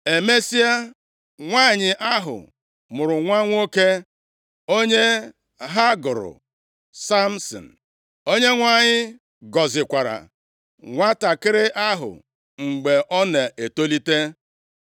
Emesịa, nwanyị ahụ mụrụ nwa nwoke, onye ha gụrụ Samsin. Onyenwe anyị gọzikwara nwantakịrị ahụ mgbe ọ na-etolite.